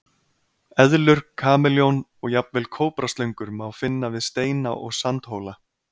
Eðlur, kameljón og jafnvel kóbraslöngur má finna við steina og sandhóla.